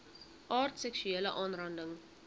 aard seksuele aanranding